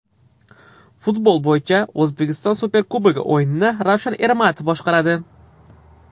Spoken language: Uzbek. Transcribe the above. Futbol bo‘yicha O‘zbekiston Superkubogi o‘yinini Ravshan Ermatov boshqaradi.